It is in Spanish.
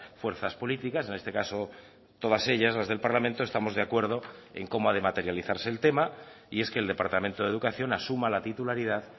fuerzas políticas en este caso todas ellas las del parlamento estamos de acuerdo en cómo ha de materializarse el tema y es que el departamento de educación asuma la titularidad